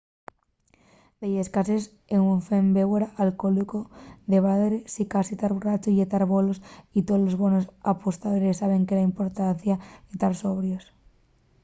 delles cases ufren bébora alcohólico de baldre sicasí tar borrachu ye tar fuera bolos y tolos bonos apostadores saben de la importancia de tar sobrios